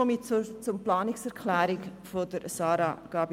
Nun zur Planungserklärung von Grossrätin Gabi.